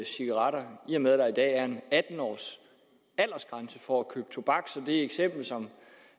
cigaretter i og med at der i dag er en atten års aldersgrænse for at købe tobak så det eksempel